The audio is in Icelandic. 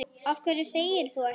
Af hverju þegir þú ekki?